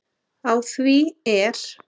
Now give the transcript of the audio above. Á því er